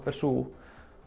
er sú